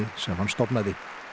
sem hann stofnaði